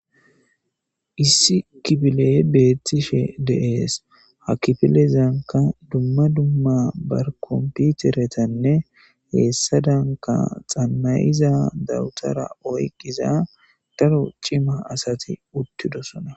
Issi kipiley beethtishe deees ha kifilezanka dumma dumma barkomputeretanne heessa danka xammayiza dawutara oyqqiza daro cima asati uttidosona